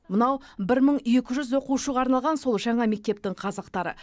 мынау бір мың екі жүз оқушыға арналған сол жаңа мектептің қазықтары